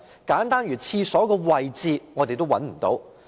簡單如廁所位置的資料，我們也找不到。